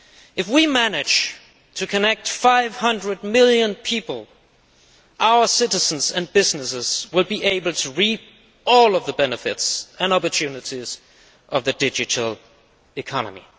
If we manage to connect 500 million people, our citizens and businesses will be able to reap all of the benefits and opportunities of the digital economy.